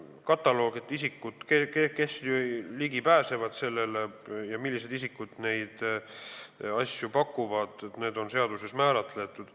See kataloog, isikud, kes sellele materjalile ligi pääsevad, ja millised isikud neid asju pakuvad, on seaduses kindlaks määratud.